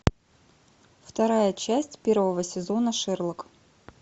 вторая часть первого сезона шерлок